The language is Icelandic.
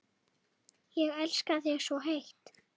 Ég elska þig svo heitt.